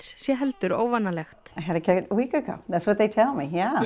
sé heldur óvanalegt